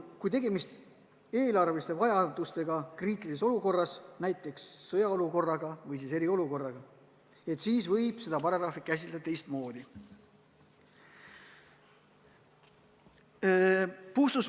Kui tegemist on eelarve vajadustega kriitilises olukorras, näiteks sõjaolukorras või siis eriolukorras, siis võib seda paragrahvi tõlgendada teistmoodi.